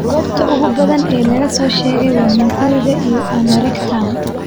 Goobta ugu badan ee laga soo sheego waa hunguriga iyo anorectum.